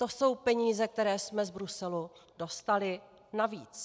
To jsou peníze, které jsme z Bruselu dostali navíc.